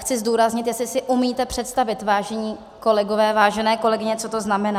Chci zdůraznit, jestli si umíte představit, vážení kolegové, vážené kolegyně, co to znamená.